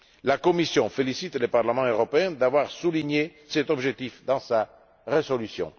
La Commission félicite le Parlement européen d'avoir souligné cet objectif dans sa résolution.